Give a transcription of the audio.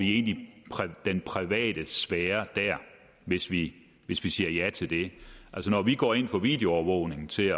i den private sfære hvis vi hvis vi siger ja til det altså når vi går ind for videoovervågning til